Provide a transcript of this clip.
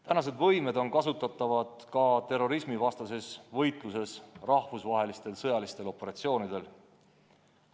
Meie võimed on kasutatavad ka terrorismivastases võitluses rahvusvahelistel sõjalistel operatsioonidel.